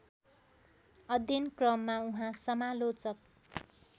अध्ययनक्रममा उहाँ समालोचक